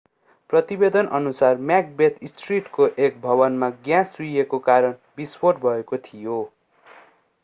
प्रतिवेदनअनुसार Macbeth स्ट्रिटको एक भवनमा ग्याँस चुहिएको कारण विस्फोट भएको थियो